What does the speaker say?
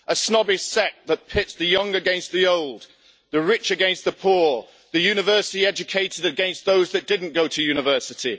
A snobbish sect that pits the young against the old, the rich against the poor, the university educated against those that didn't go to university.